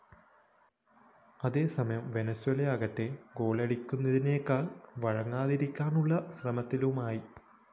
അതേസമയം വെനസ്വെലയാകട്ടെ ഗോളടിക്കുന്നതിനേക്കാള്‍ വഴങ്ങാതിരിക്കാനുള്ള ശ്രമത്തിലുമായി